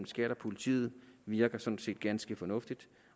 skat og politiet virker sådan set ganske fornuftig